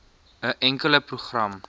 n enkele program